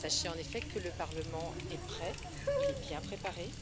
Sachez, en effet, que le Parlement est prêt et qu'il est bien préparé.